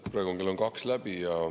Praegu on kell kaks läbi.